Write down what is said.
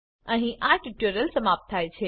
અહીં આ ટ્યુટોરીયલ સમાપ્ત થાય છે